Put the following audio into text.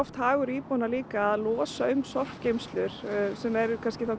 hagur íbúa að losa um sorpgeymslur sem eru